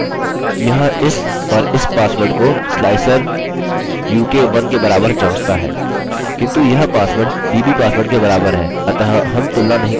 slicer u k 1 ठीक है और यहाँ यह इस और इस पासवर्ड को sliceruk1 के बराबर जाँचता है